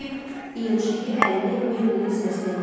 deyib, İyun Şehi əlini Meyblinin sinəsinə qoydu.